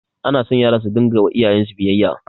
Anaso yara su dinga yiwa iyayensu biyayya